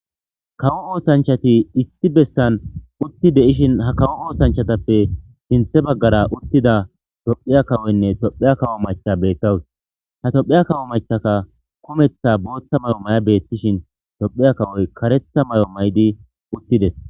kawo oosanchati issi bessan utti de7ishin ha kawo oosanchatappe sinthe baggara uttida tophiya kawoynne tophya kawo macha beettawus ha tophiya kawo machaka kumeththa booththa may7o may7a beettishin tophiya kawoy karetha may7o maydi uttides